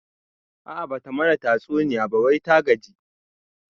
A'a bata mana tatsuniya ba wai ta gaji